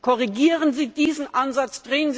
Korrigieren Sie diesen Ansatz!